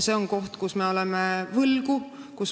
See on koht, kus me oleme võlgu.